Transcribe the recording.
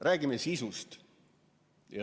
Räägime sisust!